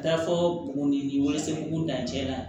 Da fɔ buguni wele sen b'o dancɛ na